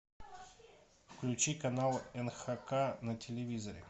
включи канал нхк на телевизоре